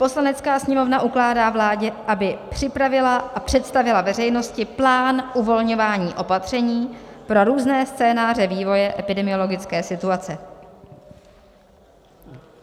Poslanecká sněmovna ukládá vládě, aby připravila a představila veřejnosti plán uvolňování opatření pro různé scénáře vývoje epidemiologické situace.